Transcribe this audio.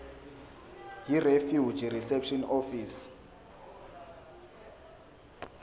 yirefugee reception office